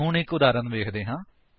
ਹੁਣ ਇੱਕ ਉਦਾਹਰਨ ਵੇਖਦੇ ਹਾਂ